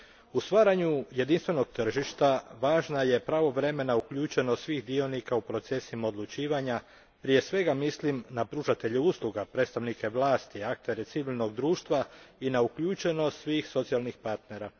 U stvaranju jedinstvenog tržišta važna je pravovremena uključenost svih dionika u procesima odlučivanja, prije svega mislim, na pružatelje usluga, predstavnike vlasti, aktere civilnog društva i na uključenost svih socialnih partnera.